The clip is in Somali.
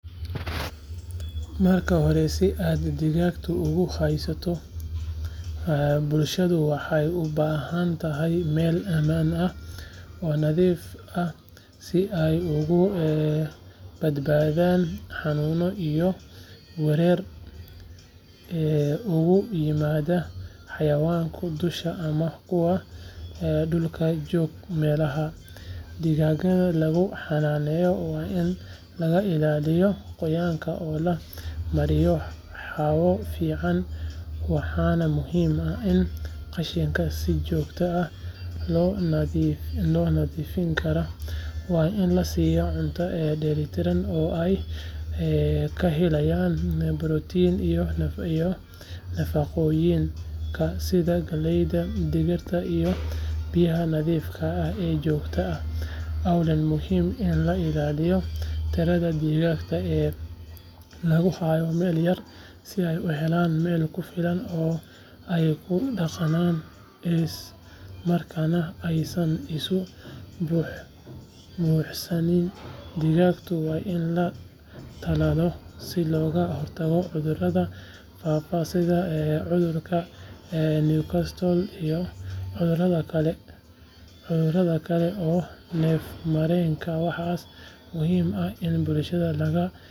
Marka horesi aad digaag ugu hayso bulshadu waxay u baahan tahay meel ammaan ah oo nadiif ahsi ay uga badbaadaan xanuuno iyo weerar uga yimaada xayawaanka duusha ama kuwa dhulkajoogameelaha digaagga lagu xanaaneeyo waa in laga ilaaliyo qoyaanka oo la mariyo hawo fiican waxaana muhiim ah in qashinka si joogto ah loo nadiifiyodigaagga waa in la siiyaa cunto dheellitiran oo ay ka helayaan borotiin iyo nafaqooyin kale sida galleyda, digirta iyo biyaha nadiifka ah ee joogtada ahwaa muhiim in la ilaaliyo tirada digaagga ee lagu hayo meel yar si ay u helaan meel ku filan oo ay ku dhaqaaqaan islamarkaana aysan isu buuxsamindigaagga waa in la tallaalaa si looga hortago cudurrada faafa sida cudurka newcastle iyo cudurada kale ee neefmareenkawaxaa muhiim ah in bulshada laga wacyigeliyo.